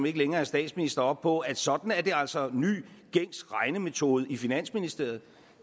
ikke længere er statsminister op på at sådan er det altså ny gængs regnemetode i finansministeriet